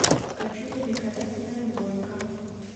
хочу великолепная двойка